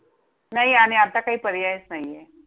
नाही आणि आता काय पर्यायच नाहीये.